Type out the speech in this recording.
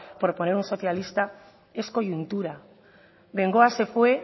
por poner un socialista es coyuntura bengoa se fue